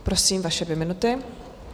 Prosím, vaše dvě minuty.